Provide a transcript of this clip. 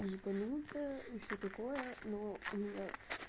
ебанутая и всё такое но у меня